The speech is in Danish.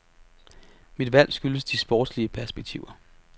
Mit valg skyldes de sportslige perspektiver.